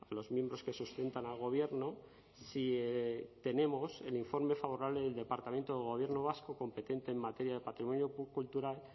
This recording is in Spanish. los miembros que sustentan al gobierno si tenemos el informe favorable del departamento del gobierno vasco competente en materia de patrimonio cultural